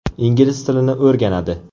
Ingliz tilini o‘rganadi.